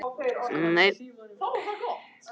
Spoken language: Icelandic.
Emelíana, viltu hoppa með mér?